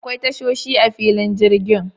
Akwai tashoshi a filin jirgin.